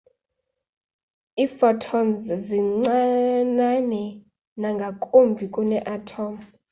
iiphotons zincinane nangakumbi kunee-atom